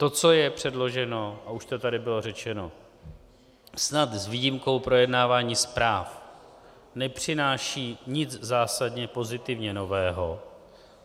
To, co je předloženo, a už to tady bylo řečeno, snad s výjimkou projednávání zpráv nepřináší nic zásadně pozitivně nového.